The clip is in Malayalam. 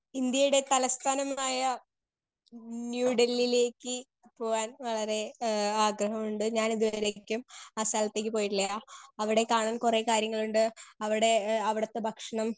സ്പീക്കർ 2 ഇന്ത്യയുടെ തലസ്ഥാനമായ ന്യൂ ഡൽലിലേക്ക് പോവാൻ വളരെ എഹ് ആഗഹമുണ്ട് ഞാൻ ഇതുവരേക്കും ആ സ്ഥലത്തേക്ക് പോയിട്ടില്ല അവിടെ കാണാൻ കൊറേ കാര്യങ്ങളിണ്ട് അവിടെ എഹ് അവിടത്തെ ഭക്ഷണം